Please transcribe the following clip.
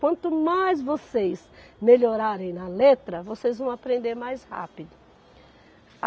Quanto mais vocês melhorarem na letra, vocês vão aprender mais rápido.